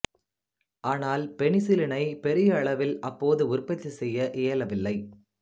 ஆனால் பெனிசிலினைப் பெரிய அளவில் அப்போது உற்பத்தி செய்ய இயலவில்லை